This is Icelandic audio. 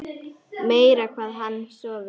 Meira hvað hann gat sofið!